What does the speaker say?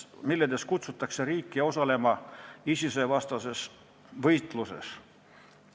Neis kutsutakse riike üles osalema ISIS-e vastases võitluses.